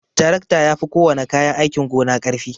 Tarakta yafi kowana kayan aikin gona karfi.